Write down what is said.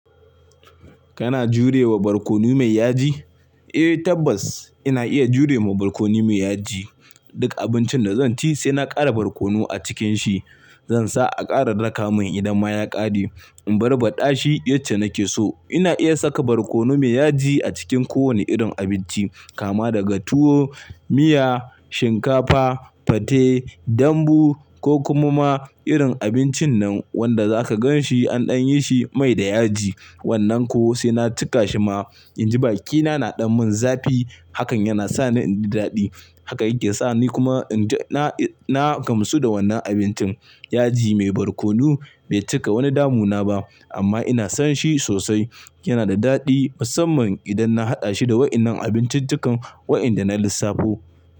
Kana jurewa barkono mai yaji? Eh tabbas ina iya jurewa barkono mai yaji. Duk abincin da zan ci sai na ƙara barkono a cikin shi. Zansa a ƙara raƙa mun idan ma ya ƙare. In barbaɗa shi yacce nake so. Ina iya saka barkono mai yaji a cikin ko wane irin abinci, kama daga tuwo, miya, shinkafa, fate, dambu ko kuma ma irin abincin nan wanda zaka gan shi an ɗan yi shi mai da yaji. Wannan ko sai na cika shi ma inji bakina na ɗau mun zafi hakan yana sa ni in ji daɗi. Haka yake sa ni kuma na gamsu da wannan abincin. Yaji mai barkono bai cika wani damu na ba amma ina son shi sosai. Yana da daɗi musamman idan na haɗa shi da waɗannan abincin dukan waɗanda na lissafo.